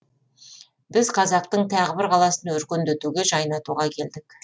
біз қазақтың тағы бір қаласын өркендетуге жайнатуға келдік